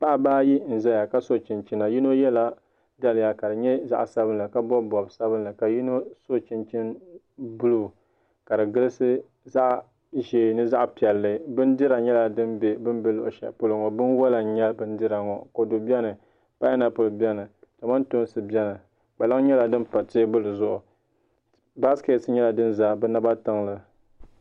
Paɣaba ayi n ʒɛya ka so chinchina yino yɛla daliya ka di nyɛ zaɣ sabinli ka bob bob sabinli ka yino so chinchini buluu ka di gilisi zaɣ ʒiɛ ni zaɣ piɛlli bindira nyɛla din bɛ bi ni bɛ luɣu shɛli polo ŋo binwola n nyɛ bindira ŋo kodu biɛni painapuli biɛni kamantoosi biɛni kpalaŋ nyɛla din pa teebuli zuɣu baaskɛt nyɛla din ʒɛ bi naba tiŋli